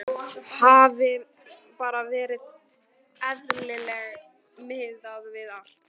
Hafi bara verið eðlileg miðað við allt.